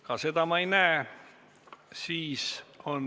Ka seda soovi ma ei näe.